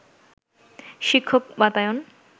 শিক্ষক বাতায়ন